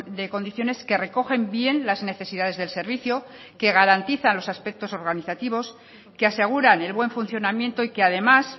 de condiciones que recogen bien las necesidades del servicio que garantizan los aspectos organizativos que aseguran el buen funcionamiento y que además